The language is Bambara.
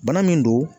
Bana min don